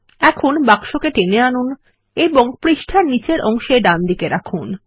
এখন বাক্সকে টেনে আনুন এবং পৃষ্ঠার নীচের অংশে ডানদিকে রাখুন